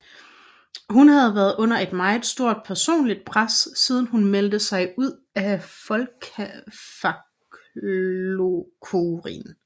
Hun havde været under et meget stort personligt pres siden hun meldte sig ud af Fólkaflokkurin